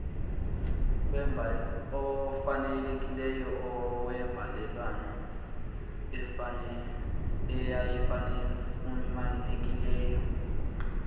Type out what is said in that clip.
ofanelekileyo wembalelwano eyayifunyenwe